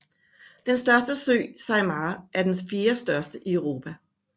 Den største sø Saimaa er den fjerdestørste i Europa